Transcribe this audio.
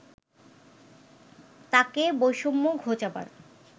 তাকে বৈষম্য ঘোচাবার